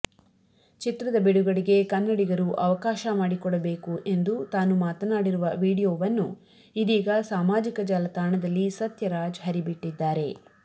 ಚಿತ್ರದ ಬಿಡುಗಡೆಗೆ ಕನ್ನಡಿಗರು ಅವಕಾಶ ಮಾಡಿಕೊಡಬೇಕು ಎಂದು ತಾನು ಮಾತನಾಡಿರುವ ವಿಡಿಯೋವನ್ನು ಇದೀಗ ಸಾಮಾಜಿಕ ಜಾಲತಾಣದಲ್ಲಿ ಸತ್ಯರಾಜ್ ಹರಿಬಿಟ್ಟಿದ್ದಾರೆ